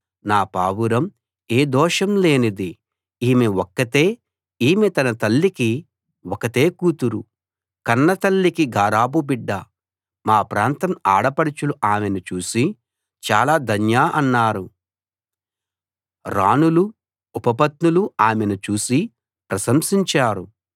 నా పావురం ఏ దోషం లేనిది ఈమె ఒక్కతే ఈమె తన తల్లికి ఒకతే కూతురు కన్నతల్లికి గారాబు బిడ్డ మా ప్రాంతం ఆడపడుచులు ఆమెను చూసి చాలా ధన్య అన్నారు రాణులూ ఉపపత్నులూ ఆమెను చూసి ప్రశంసించారు